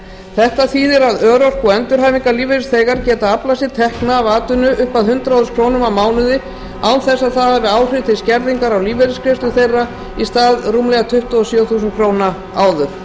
þetta þýðir að örorku og endurhæfingarlífeyrisþegar geta aflað sér tekna af atvinnu upp að hundrað þúsund krónur á mánuði án þess að það hafi áhrif til skerðingar á lífeyrisgreiðslur þeirra í stað rúmlega tuttugu og sjö þúsund króna áður